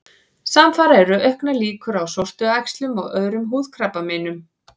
Samfara eru auknar líkur á sortuæxlum og öðrum húðkrabbameinum.